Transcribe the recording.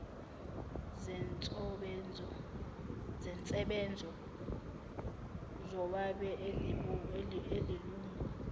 zensebenzo zowabe elilungu